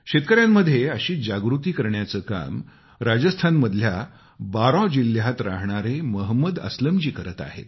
शेतकऱ्यांमध्ये अशीच जागृती करण्याचे काम राजस्थान मधल्या बारां जिल्ह्यात राहणारे मोहम्मद असलम जी करत आहेत